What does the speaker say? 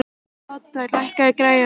Odda, lækkaðu í græjunum.